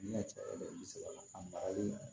Ne ka cɛla a maralen